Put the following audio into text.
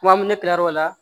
Kuma min ne kila l'o la